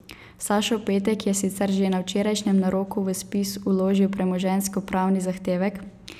Sašo Petek je sicer že na včerajšnjem naroku v spis vložil premoženjskopravni zahtevek.